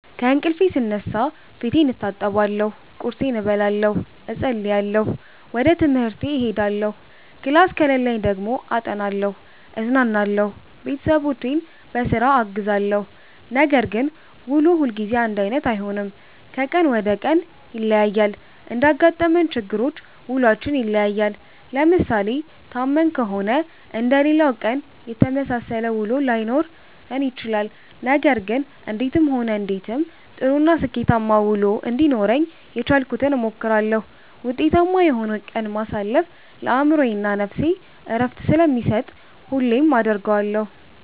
ከእንቅልፌ ስነሳ ፌቴን እታጠባለሁ ቁርሴን እበላለሁ እፀልያለሁ ወጀ ትምሀርቴ እሄዳለሁ ክላስ ከሌለኝ ደግሞ አጠናለሁ እዝናናለሁ ቤተሠቦቼን ቧስራ አግዛለሁ። ነገር ግን ውሎ ሁልጊዜ አንዳይነት አይሆንም ከቀን ወደ ቀን ይለያያል። እንዳጋጠመን ችግሮች ውሏችን ይለያያል። ለምሣሌ ታመን ከሆነ ልክ እንደሌላው ቀን የተመሣሠለ ውሎ ላይኖረን ይችላል። ነገር ግን እንዴትም ሆነ እንዴትም ጥሩ እና ስኬታማ ውሎ እንዲኖረኝ የቻልኩትን እሞክራለሁ። ውጤታማ የሆነ ቀንን ማሣለፍ ለአእምሮዬ እና ነፍሴ ዕረፍትን ስለሚሠጥ ሁሌም አደርገዋለሁ።